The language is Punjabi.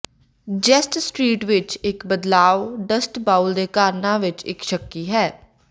ਜੇਸਟ ਸਟਰੀਟ ਵਿੱਚ ਇੱਕ ਬਦਲਾਅ ਡਸਟ ਬਾਊਲ ਦੇ ਕਾਰਨਾਂ ਵਿੱਚ ਇੱਕ ਸ਼ੱਕੀ ਹੈ